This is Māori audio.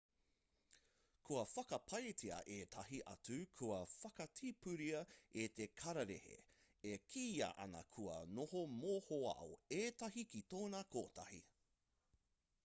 kua whakapaetia ētahi atu kua whakatipuria e te kararehe e kīia ana kua noho mohoao ētahi ki tōna kotahi